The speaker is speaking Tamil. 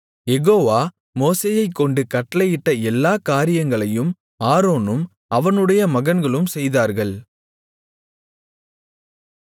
யெகோவா மோசேயைக்கொண்டு கட்டளையிட்ட எல்லாக் காரியங்களையும் ஆரோனும் அவனுடைய மகன்களும் செய்தார்கள்